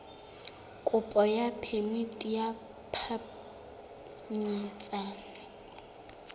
kopo ya phemiti ya phapanyetsano